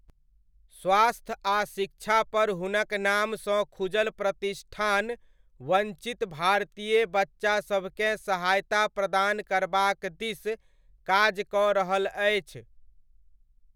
स्वास्थ आ शिक्षापर हुनक नामसँ खुजल प्रतिष्ठान वञ्चित भारतीय बच्चासभकेँ सहायता प्रदान करबाक दिस काज कऽ रहल अछि।